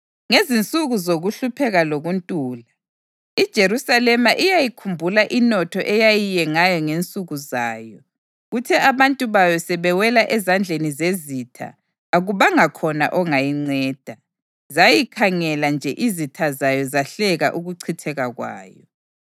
Ngezinsuku zokuhlupheka lokuntula, iJerusalema iyayikhumbula inotho eyayingeyayo ngensuku zayo. Kuthe abantu bayo sebewela ezandleni zezitha, akubanga khona ongayinceda. Zayikhangela nje izitha zayo zahleka ukuchitheka kwayo.